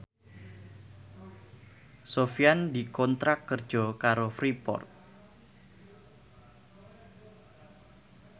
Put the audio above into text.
Sofyan dikontrak kerja karo Freeport